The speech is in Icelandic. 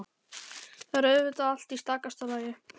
Þá er auðvitað allt í stakasta lagi!